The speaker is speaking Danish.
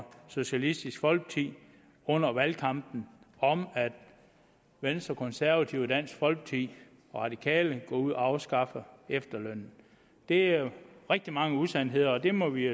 socialistisk folkeparti under valgkampen om at venstre konservative dansk folkeparti og radikale går ud og afskaffer efterlønnen det er jo rigtig mange usandheder og det må vi